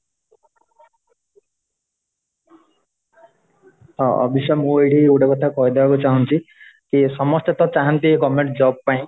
"ଅଭୀପ୍ସା ମୁଁ ଏଠି ଗୋଟେ କଥା କହିଦେବାକୁ ଚାହୁଁଛି କି ସମସ୍ତେ ତ ଚାହାନ୍ତି government job ପାଇଁ `"